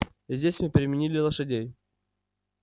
здесь мы переменили лошадей